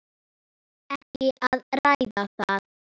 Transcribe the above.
Ekki að ræða það.